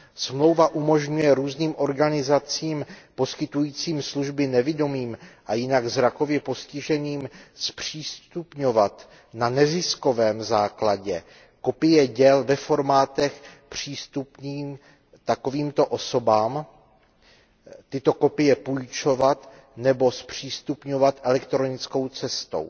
Smlouva umožňuje různým organizacím poskytujícím služby nevidomým a jinak zrakově postiženým zpřístupňovat na neziskovém základě kopie děl ve formátech přístupných takovýmto osobám, tyto kopie půjčovat nebo zpřístupňovat elektronickou cestou.